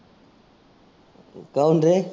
कहुन रे?